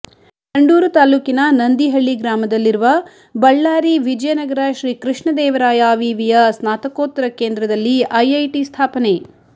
ಸಂಡೂರು ತಾಲೂಕಿನ ನಂದಿಹಳ್ಳಿ ಗ್ರಾಮದಲ್ಲಿರುವ ಬಳ್ಳಾರಿ ವಿಜಯನಗರ ಶ್ರೀಕೃಷ್ಣದೇವರಾಯ ವಿವಿಯ ಸ್ನಾತಕೋತ್ತರ ಕೇಂದ್ರದಲ್ಲಿ ಐಐಟಿ ಸ್ಥಾಪನೆ